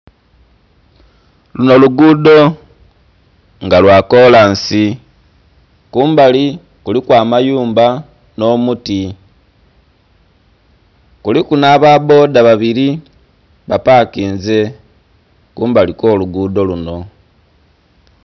Lunho lugudho nga lwakolansi kumbali kuliku amayumba nh'omuti kuliku nh'ababbodha babiri bapakinze kumbali okwolugudho lunho.